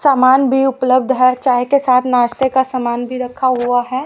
सामान भी उपलब्ध है चाय के साथ नाश्ते का सामान भी रखा हुआ है।